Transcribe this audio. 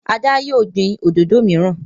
Ada yíò gbin òdodo miran.